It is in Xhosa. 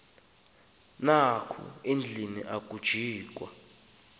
apha endlwini ajikwa